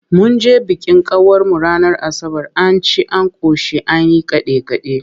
Mun je bikin kawarmu ranar Asabar, an ci an ƙoshi an yi kaɗe-kaɗe.